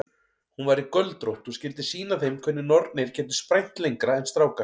Hún væri göldrótt og skyldi sýna þeim hvernig nornir gætu sprænt lengra en strákar.